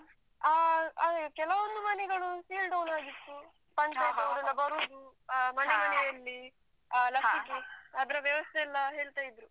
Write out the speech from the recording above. ಹ ಅದೇ. ಕೆಲವೊಂದು ಮನೆಗಳು seal down ಆಗಿತ್ತು ಪಂಚಾಯತ್ತ್ ಅವ್ರೆಲ್ಲ ಬರುದು ಮನೆ ಮನೆಯಲ್ಲಿ ಹ ಲಸಿಕೆ ಅದ್ರದ್ದು ವ್ಯವಸ್ಥೆ ಎಲ್ಲ ಹೇಳ್ತ ಇದ್ರೂ.